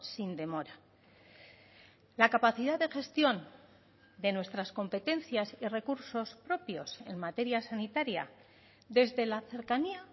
sin demora la capacidad de gestión de nuestras competencias y recursos propios en materia sanitaria desde la cercanía